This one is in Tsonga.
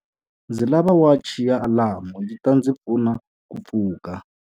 Ndzi lava wachi ya alamu yi ta ndzi pfuna ku pfuka.